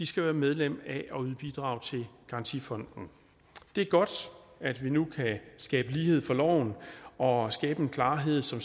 skal være medlem af og skal yde bidrag til garantifonden det er godt at vi nu kan skabe lighed for loven og skabe en klarhed så